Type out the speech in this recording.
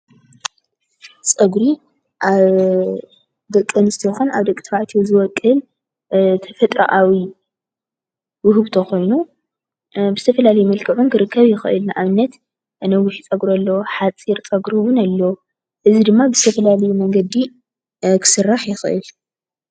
ፀጉሪ ኣብደቂ ኣንስትዮ ይኩን ኣብ ደቂ ተባዕትዮ ዝበቁል ተፈጥራኣዊ ዉህብቶ ኮይኑ በዝተፋላለየ መልክዑ ክርከብ ይክእል፡፡ ኣብነት ነዊሕ ፀጉር ኣሎ ሓፂር ፀጉር እዉን ኣሎ። እዚ ድማ ብዝተፋላለየ መንገዲ ክስራሕ ይክእል፡፡